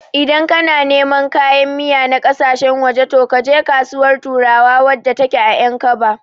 Idan kana neman kayan miya na ƙasashen waje, to kaje Kasuwar turawa wadda take a Ƴankaba.